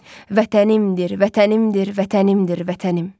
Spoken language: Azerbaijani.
Vətənimdir, vətənimdir, vətənimdir, vətənim.